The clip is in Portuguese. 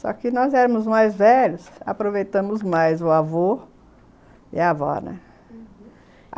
Só que nós éramos mais velhos, aproveitamos mais o avô e a avó, né? uhum.